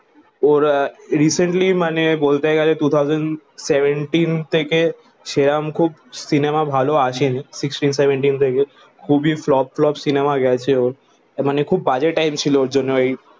ওরে recently মানে বলতে গালে টু থৌসান্ড সেভেনটিন থেকে সেরম খুব সিনেমা ভালো আসে নি সিক্সটিন সেভেনটিন থেকে খুব এ flop flop সিনেমা গাছে ওরে মানে খুব বাজে টাইম ছিল ওরে জন্য